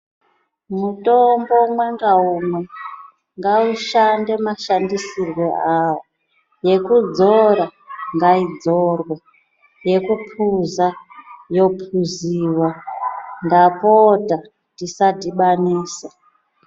Mutombo umwe ngaumwe ngaushande mashandisirwe awo yekudzora ngaidzorwe yekuphuza yophuziwa ndapota tisadhibanisa.